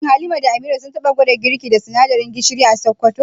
Shin Halima da Amira sun taba gwada girki da sinadarin gishir a Sakkwato?